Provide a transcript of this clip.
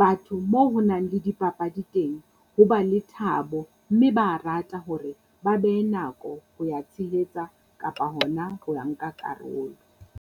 Batho moo ho nang le di papadi teng, ho ba le thabo, mme ba rata hore ba behe nako ho ya tshehetsa kapa hona ho ya nka karolo.